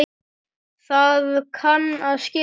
Það kann að skila sér.